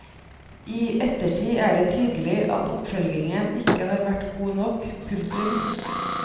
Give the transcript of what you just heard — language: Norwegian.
I ettertid er det tydelig at oppfølgingen ikke har vært god nok. punktum